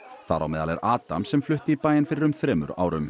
þar á meðal er Adam sem flutti í bæinn fyrir um þremur árum